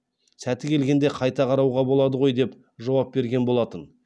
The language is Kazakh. сәті келгенде қайта қарауға болады ғой деп жауап берген болатын